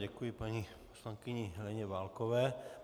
Děkuji paní poslankyni Heleně Válkové.